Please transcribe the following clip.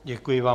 Děkuji vám.